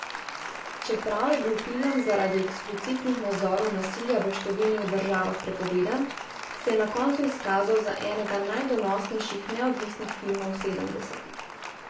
Čeprav je bil film zaradi eksplicitnih nazorov nasilja v številnih državah prepovedan, se je na koncu izkazal za enega najdonosnejših neodvisnih filmov sedemdesetih.